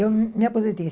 Eu me aposentei em